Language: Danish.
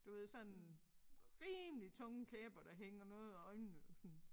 Du ved sådan rimelig tunge kæber der hænger noget og øjnene sådan